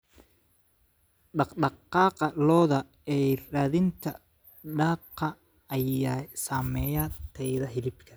Dhaqdhaqaaqa lo'da ee raadinta daaqa ayaa saameeya tayada hilibka.